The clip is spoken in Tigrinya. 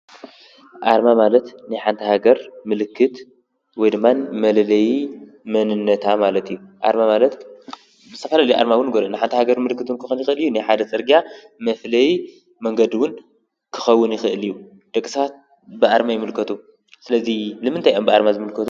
ኣርማ ማለት ንሓንቲ ሃገር ምልክት ወይ ድማ መለለይ መንነታ ማለት እዩ፡፡ ኣርማ ማለት ብዝተፈላለዩ ኣርማ ውን ክኾን ይኽእል እዩ፡፡ ናይ ሓንቲ ሃገር ምልክት ውን ክኾን ይኽእል እዩ፡፡ ንሓደ ፅርግያ መፍለይ መንገድ ውን ክኸውን ይኽእል እዩ፡፡ ደቂ ሰባት ብኣርማ ይምልከቱ፡፡ ስለዙይ ንምንታይ አዮም ብኣርማ ዝምልከቱ?